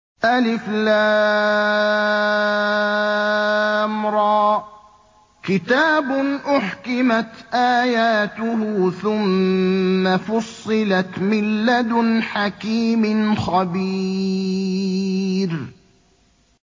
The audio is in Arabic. الر ۚ كِتَابٌ أُحْكِمَتْ آيَاتُهُ ثُمَّ فُصِّلَتْ مِن لَّدُنْ حَكِيمٍ خَبِيرٍ